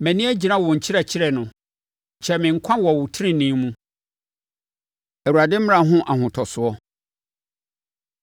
Mʼani agyina wo nkyerɛkyerɛ no! Kyɛe me nkwa so wɔ wo tenenee mu. Awurade Mmara Ho Ahotosoɔ